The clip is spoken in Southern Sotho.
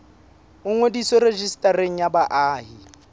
o ngodiswe rejistareng ya baahi